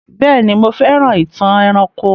Béèni, mo fẹ́ràn ìtàn eranko